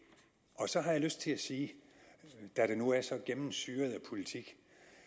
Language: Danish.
så har jeg lyst til at sige da det nu er så gennemsyret af politik